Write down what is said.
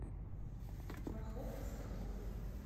фарход соколов